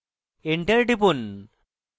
enter টিপুন